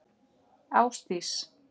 Ásdís